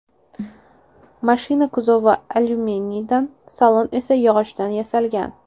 Mashina kuzovi alyuminiydan, salon esa yog‘ochdan yasalgan.